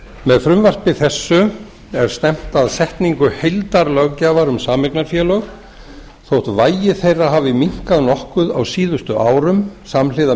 með frumvarpi þessu er stefnt að setningu heildarlöggjafar um sameignarfélög þótt vægi þeirra hafi minnkað nokkuð á síðustu árum samhliða